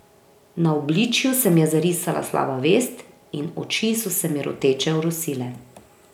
Na obličju se mi je zarisala slaba vest in oči so se mi roteče orosile.